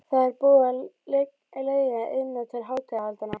Það er búið að leigja Iðnó til hátíðahaldanna.